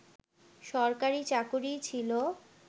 সরকারী চাকুরীই ছিল